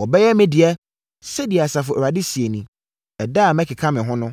“Wɔbɛyɛ me dea,” sɛdeɛ, Asafo Awurade seɛ nie. Ɛda a mɛkeka me ho no,